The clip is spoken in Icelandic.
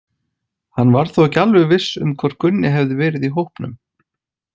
Hann var þó ekki alveg viss um hvort Gunni hefði verið í hópnum.